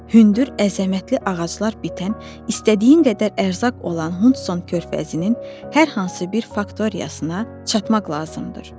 Hündür, əzəmətli ağaclar bitən, istədiyi qədər ərzaq olan Hudson körfəzinin hər hansı bir faktoriyasına çatmaq lazımdır.